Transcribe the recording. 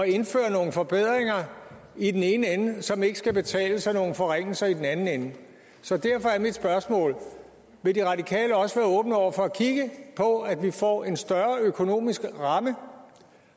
indføre nogle forbedringer i den ene ende som ikke skal betales af nogle forringelser i den anden ende så derfor er mit spørgsmål vil de radikale også være åbne over for at kigge på at vi får en større økonomisk ramme